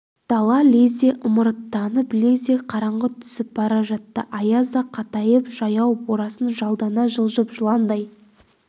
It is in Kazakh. дала лезде ымырттанып лезде қараңғы түсіп бара жатты аяз да қатайып жаяу борасын жалдана жылжып жыландай